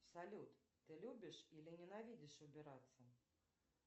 салют ты любишь или ненавидишь убираться